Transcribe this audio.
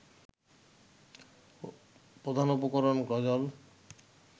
প্রধান উপকরণ গজল